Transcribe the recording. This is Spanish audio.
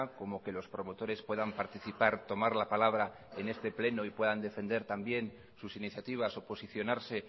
como que los promotores puedan participar tomar la palabra en este pleno y puedan defender también sus iniciativas o posicionarse